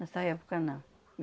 Nessa época não.